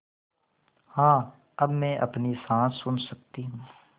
हाँ अब मैं अपनी साँस सुन सकती हूँ